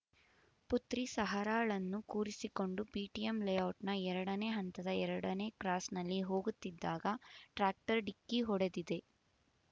ಪುತ್ರಿ ಸಹರಾಳನ್ನು ಕೂರಿಸಿಕೊಂಡು ಬಿಟಿಎಂ ಲೇಔಟ್‌ನ ಎರಡನೇ ಹಂತದ ಎರಡನೇ ಕ್ರಾಸ್‌ನಲ್ಲಿ ಹೋಗುತ್ತಿದ್ದಾಗ ಟ್ರ್ಯಾಕ್ಟರ್ ಡಿಕ್ಕಿ ಹೊಡೆದಿದೆ